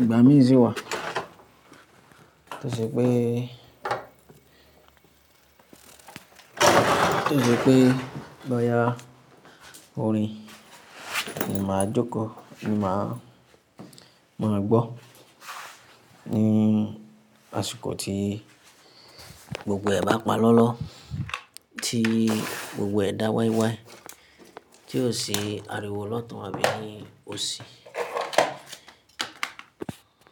Ìgbà mí si wà tí ó ṣe pé, tí ó ṣe pé bóyá orin ni màá jókòó ni màá, màá gbọ́ ní àsìkò tí gbogbo ẹ̀dá ń pa lọ́lọ́, tí gbogbo ẹ̀dá wái wái, tí ó ṣi ariwo lọ́tun àbí ni ó ṣì.